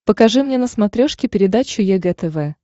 покажи мне на смотрешке передачу егэ тв